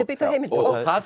byggt á heimildum og það